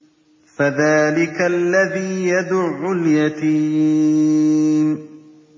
فَذَٰلِكَ الَّذِي يَدُعُّ الْيَتِيمَ